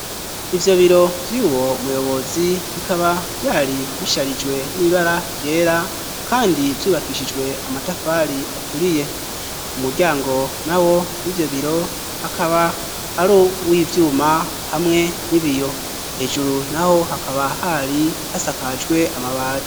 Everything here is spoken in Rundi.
Ivyo biro vy'uwo muyobozi bikaba vyari bisharijwe n'ibara ryera kandi vyubakishijwe amatafari aturiye umuryango na wo w'ivyo biro akaba ari uw'ivyuma hamwe n'ibiyo hejuru naho hakaba hari hasakajwe amabati.